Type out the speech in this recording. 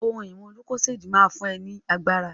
Lucozade boost will give you energy